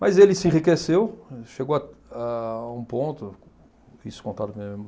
Mas ele se enriqueceu, chegou a a um ponto, isso contado por